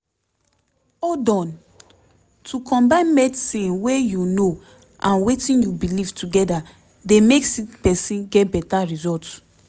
hold on - to combine medicine wey u know and wetin u belief together dey make sick pesin get beta result